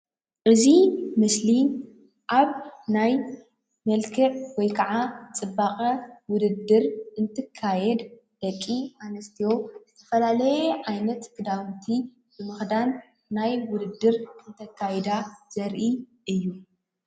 እዚ መሰሊ ኣብ ናይ መልክዕ ወይ ከዓ ፅባቐ ውድድር እትካየድ ደቂ ኣንስትዮ ዝተፈላለየ ዓይነት ክዳውንቲ ንምክዳን ናይ ውድድር እካይዳ ዘርኢ እዩ፡፡